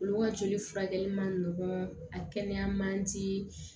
Olu ka joli furakɛli man nɔgɔn a kɛnɛya man di